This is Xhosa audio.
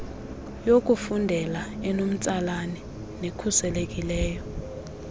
yokufundela enomtsalane nekhuselekileyo